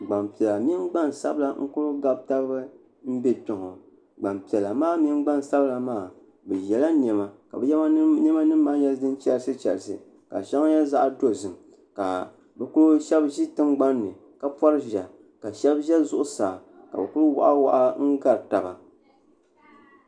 Gbampiɛla mini gbansabla n kuli gabi taba m be kpe gbampiɛla maa mini gbansabla maa bɛ yela niɛma ka bɛ niɛma nima maa nyɛ din chɛrisichɛrisi ka sheŋa nyɛ zaɣa dozim ka sheba ʒi tingbanni ka sheba ʒɛ zuɣusaa ka bɛ kuli waɣa waɣa n gari taba.